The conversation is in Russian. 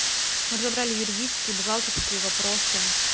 разобрали юридические бухгалтерские вопросы